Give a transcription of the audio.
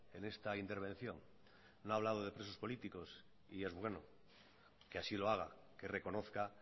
en esta intervención no ha hablado de presos políticos y es bueno que así lo haga que reconozca